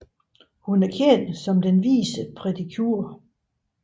Hun er kendt som den vise Pretty Cure